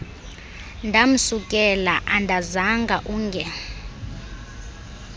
ndamsukela andazanga unge